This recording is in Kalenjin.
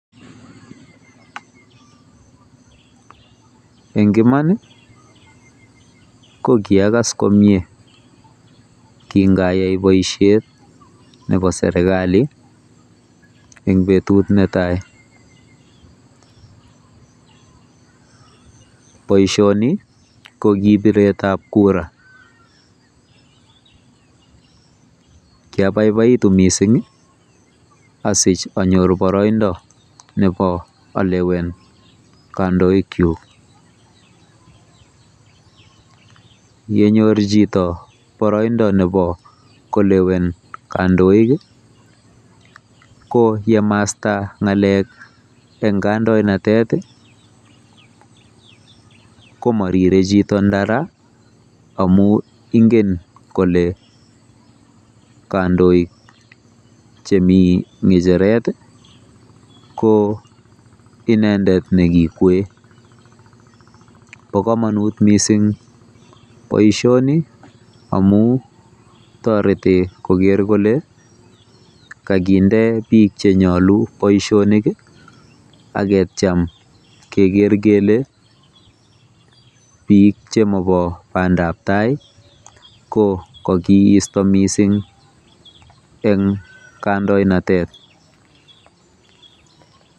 En iman ii koikas komyee kinayai boisiet nebo sergali en betut netai, boisioni ko ki biret ab kura, kiabaibaitu missing asich anyor boroindo nebo alewen kondoikyuk, ng'enyor chito boroindo nebo kolewen kondoik i ko yemasta ng'alek en kandoinatet i komorire chito ndara amun ing'en kole kandoik chemi ng'echeret i ko inendet nekikwoe, bo komonut missing boisioni amun toreti koger kole kokinde biik chenyolu boisionik ak ketyem keker keke biik chemobo pandab tai kokokisto missing en kandonatet.